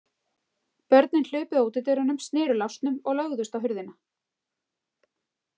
Börnin hlupu að útidyrunum, sneru lásnum og lögðust á hurðina.